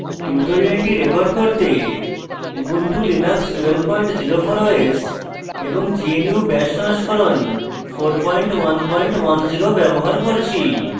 tutorial record করতে ubuntu linux 1204 os এবং gnu bash সংস্করণ 4110 ব্যবহার করছি